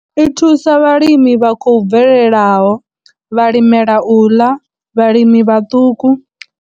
I thusa vhalimi vha khou bvelelaho, vhalimela u ḽa, vhalimi vhaṱuku.